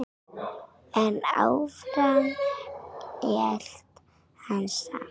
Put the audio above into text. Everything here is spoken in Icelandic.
En áfram hélt hann samt.